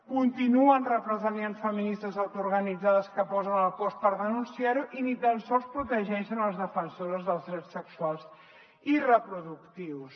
continuen represaliant feministes autoorganitzades que posen el cos per denunciar ho i ni tan sols protegeixen les defensores dels drets sexuals i reproductius